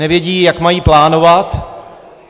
Nevědí, jak mají plánovat.